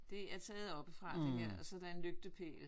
Det er taget oppefra det her og så er der en lygtepæl